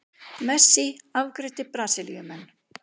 Messi afgreiddi Brasilíumenn